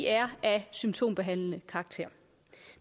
er af symptombehandlende karakter